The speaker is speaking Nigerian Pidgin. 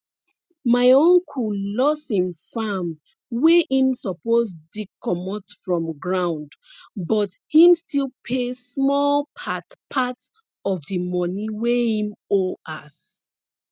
my uncle loss him farm wey him suppose dig comot from ground but him still pay small part part of the money wey him owe as